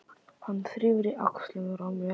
Hann þrífur í axlirnar á mér.